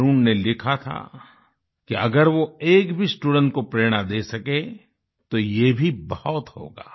वरुण ने लिखा था कि अगर वो एक भी स्टूडेंट को प्रेरणा दे सके तो ये भी बहुत होगा